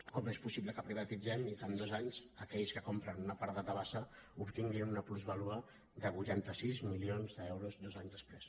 com és possible que privatitzem i que en dos anys aquells que compren una part de tabasa obtin·guin una plusvàlua de vuitanta sis milions d’euros dos anys després